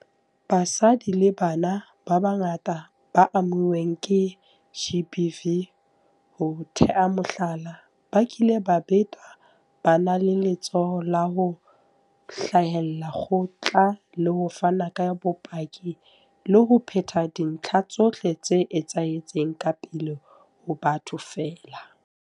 Basadi le bana ba bangata ba amuweng ke GBV, ho tea mohlala, ba kileng ba betwa, ba na le letshoho la ho hlahella kgotla le ho fana ka bopaki le ho phetha dintlha tsohle tse etsahetseng ka pele ho batho feela.